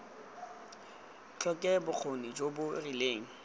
tlhoke bokgoni jo bo rileng